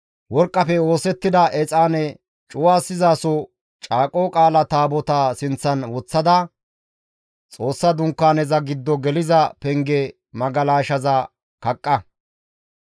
Worqqafe oosettida exaane cuwasizasoza Caaqo Qaala Taabotaa sinththan woththada, Xoossa Dunkaaneza giddo geliza penge magalashaza kaqqa.